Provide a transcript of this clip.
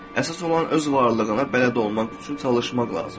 Əsas olan öz varlığına bələd olmaq üçün çalışmaq lazımdır.